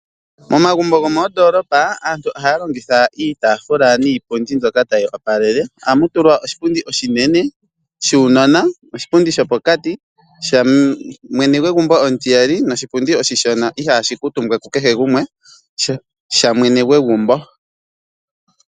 Momagumbo gomoondolopa aantu ohaya longitha iitaafula niipundi mbyoka tayi opalele. Ohamu tulwa oshipundi oshinene shuunona, oshipundi sho pokati shamwene gwegumbo omutiyali noshipundi oshishona ihaashi kuutumbwa ku kehe gumwe sha mwene gwegumbo.